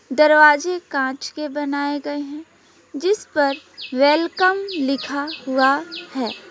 दरवाजे कांच के बनाए गए हैं जिस पर वेलकम लिखा हुआ है।